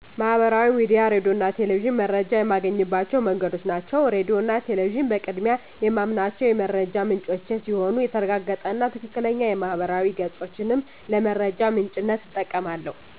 ማህበራዊ ሚዲያ፣ ሬዲዮ እና ቴሌቪዥን መረጃ የማገኝባቸው መንገዶች ናቸው። ሬዲዮ እና ቴሌቪዥን በቅድሚያ የማምናቸው የመረጃ ምንጮቼ ሲሆኑ የተረጋገጠ እና ትክክለኛ የማህበራዊ ገፆችንም ለመረጃ ምንጭነት እጠቀማለሁ።